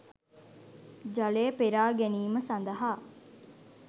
ජලය පෙරා ගැනීම සඳහා